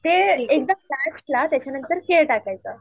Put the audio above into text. ते एकदम लास्टला त्याच्यानंतर केल टाकायचं